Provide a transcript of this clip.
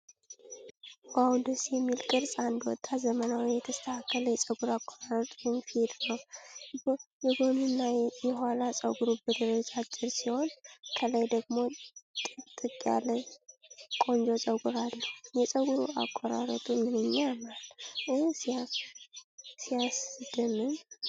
"ዋው! ደስ የሚል ቅርጽ!" አንድ ወጣት ዘመናዊና የተስተካከለ የፀጉር አቆራረጥ (ፌድ) ነው። የጎንና የኋላ ፀጉሩ በደረጃ አጭር ሲሆን፣ ከላይ ደግሞ ጥቅጥቅ ያለ ቆንጆ ፀጉር አለው። የፀጉር አቆራረጡ "ምንኛ ያምራል!" እ "ሲያስደምም!"